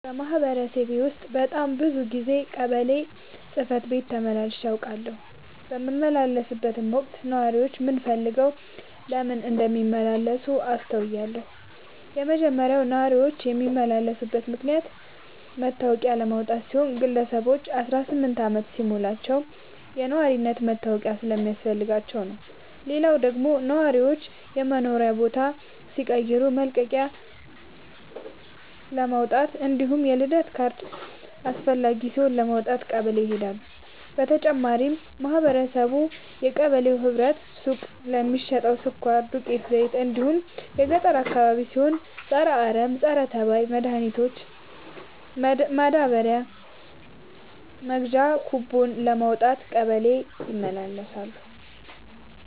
በማህበረሰቤ ውስጥ በጣም ብዙ ጊዜ ቀበሌ ጽህፈት ቤት ተመላልሼ አውቃለሁ። በምመላለስበትም ወቅት ነዋሪዎች ምን ፈልገው ለምን እንደሚመላለሱ አስተውያለሁ የመጀመሪያው ነዋሪዎች የሚመላለሱበት ምክንያት መታወቂያ ለማውጣት ሲሆን ግለሰቦች አስራስምንት አመት ሲሞላቸው የነዋሪነት መታወቂያ ስለሚያስፈልጋቸው ነው። ሌላው ደግሞ ነዋሪዎች የመኖሪያ ቦታ ሲቀይሩ መልቀቂያለማውጣት እንዲሁም የልደት ካርድ አስፈላጊ ሲሆን ለማውጣት ቀበሌ ይሄዳሉ። በተጨማሪም ማህበረቡ የቀበሌው ህብረት ሱቅ ለሚሸተው ስኳር፣ ዱቄት፣ ዘይት እንዲሁም ገጠር አካባቢ ሲሆን የፀረ አረም፣ ፀረተባይ መድሀኒት ማዳበሪያ መግዣ ኩቦን ለማውጣት ቀበሌ ይመላለሳሉ።